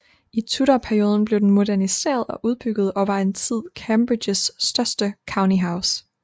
I tudorperioden blev den moderniseret og udbygget og var en tid Cambridgeshires største county house